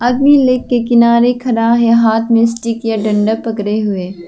आदमी लेक के किनारे खड़ा है हाथ में स्टिक या डंडा पकड़े हुए।